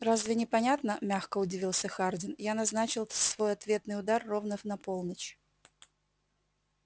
разве непонятно мягко удивился хардин я назначил свой ответный удар ровно на полночь